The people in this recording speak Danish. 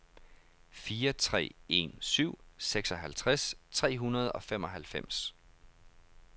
fire tre en syv seksoghalvtreds tre hundrede og femoghalvfems